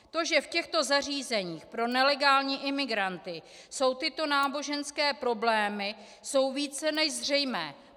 To, že v těchto zařízeních pro nelegální imigranty jsou tyto náboženské problémy, je více než zřejmé.